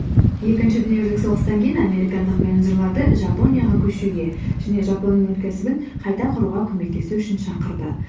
екінші дүниежүзілік соғыстан кейін американдық менеджерлерді жапонияға көшуге және жапонның өнеркәсібін қайта құруға көмектесу үшін шақырды